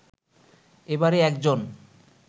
এবারে একজন